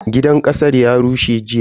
Gidan kasar ya rushe jiya.